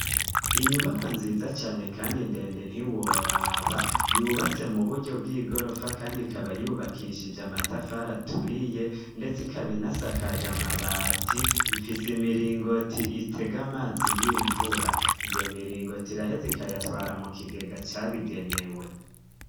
Inyubaka nziza cane kandi ndende ntiworaba yubatse mu buryo bw'igorofa kandi ikaba yubakishije amatafari aturiye ndetse ikaba inasakaje amabati ifise imiringoti itega amazi y'imvura iyo miringoti iraheza ikayatwara mu kigega cabigenewe.